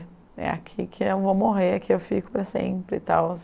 É aqui que eu vou morrer, é aqui que eu fico para sempre e tal.